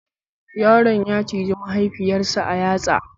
Yaron ya ciji mahaifiyar sa a yatsa